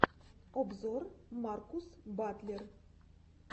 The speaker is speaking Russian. обзор маркус батлер